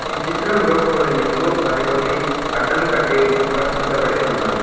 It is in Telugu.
ఈ చిత్రంలో కొన్ని నిలువ మరికొన్ని అడ్డం కడ్డీలు అమర్చించబడి ఉన్నాయి.